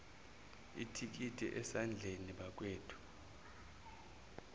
ithikithi esandleni bakwethu